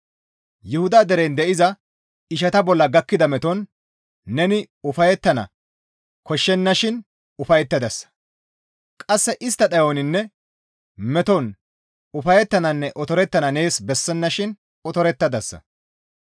Yuhuda deren de7iza ishata bolla gakkida meton neni ufayettana koshshennashin ufayettadasa; qasse istta dhayoninne meton ufayettananne otorettana nees bessennashin otorettadasa.